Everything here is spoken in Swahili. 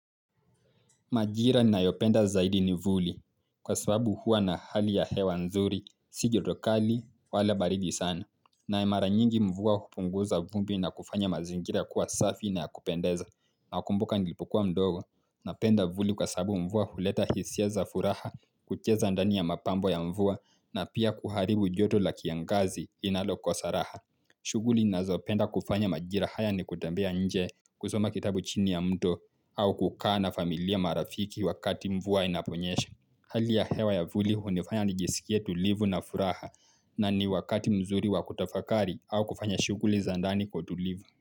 Majira ninayopenda zaidi ni vuli. Kwa sababu hua na hali ya hewa nzuri, si joto kali, wala baridi sana. Naye mara nyingi mvua kupunguza vumbi na kufanya mazingira kuwa safi na ya kupendeza. Nakumbuka nilipokua mdogo. Napenda vuli kwa sabu mvua huleta hisia za furaha, kucheza ndani ya mapambo ya mvua na pia kuharibu joto la kiangazi linalokosa raha. Shughuli ninazopenda kufanya majira haya ni kutembea nje kusoma kitabu chini ya mto au kukaa na familia marafiki wakati mvua inaponyesha. Hali ya hewa ya vuli hunifanya nijisikie tulivu na furaha na ni wakati mzuri wakutafakari au kufanya shuguli za ndani kwa utulivu.